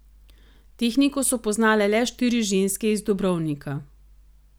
Tehniko so poznale le štiri ženske iz Dobrovnika.